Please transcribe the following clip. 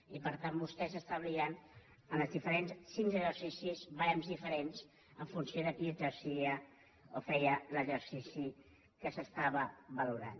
i per tant vostès establien en els diferents exercicis ba·rems diferents en funció de qui exercia o feia l’exercici que s’estava valorant